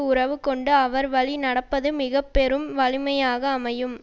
உறவு கொண்டு அவர்வழி நடப்பது மிக பெரும் வலிமையாக அமையும்